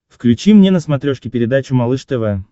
включи мне на смотрешке передачу малыш тв